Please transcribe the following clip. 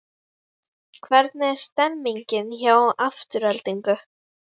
Hvernig er stemningin hjá Aftureldingu?